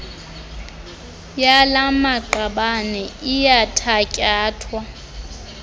yala maqabane iyathatyathwa